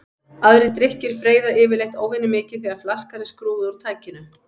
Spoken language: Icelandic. Aðrir drykkir freyða yfirleitt óvenjumikið þegar flaskan er skrúfuð úr tækinu.